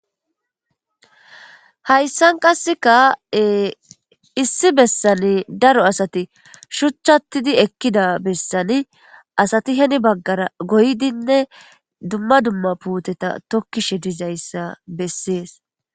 Hayssan qasseka issi bessani daro asati shuchchattidi ekkida bessani asati heni baggara goydinne dumma dumma puuteta tokkishe dizayssa bessees.